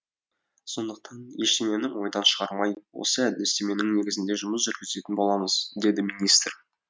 сондықтан ештеңені ойдан шығармай осы әдістеменің негізінде жұмыс жүргізетін боламыз деді министр